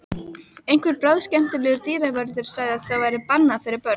Einhver bráðskemmtilegur dyravörður sagði að það væri bannað fyrir börn.